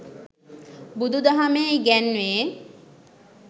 බුදුදහමේ ඉගැන්වේ.